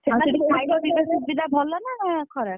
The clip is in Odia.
ସେଠି ଖାଇବା ପିଇବା ସୁବିଧା ଭଲ ନା ଖରାପ?